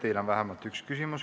Teile on vähemalt üks küsimus.